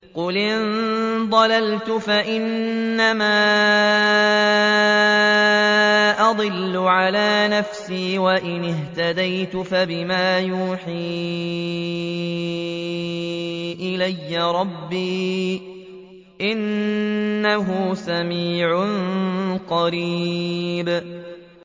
قُلْ إِن ضَلَلْتُ فَإِنَّمَا أَضِلُّ عَلَىٰ نَفْسِي ۖ وَإِنِ اهْتَدَيْتُ فَبِمَا يُوحِي إِلَيَّ رَبِّي ۚ إِنَّهُ سَمِيعٌ قَرِيبٌ